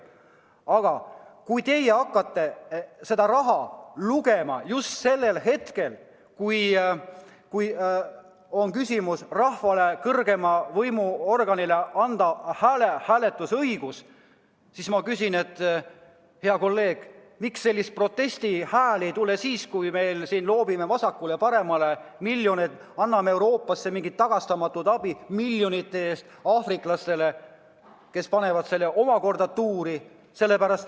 Aga kui teie hakkate raha lugema just siis, kui küsimuse all on rahvale, kõrgeima riigivõimu kandjale, hääletusõiguse andmises, siis ma küsin, hea kolleeg, miks selliseid protestihääli ei tule siis, kui me loobime vasakule ja paremale miljoneid, anname näiteks Euroopasse mingit tagastamatut abi miljonite ulatuses ja ka aafriklastele, kes panevad selle raha tuuri.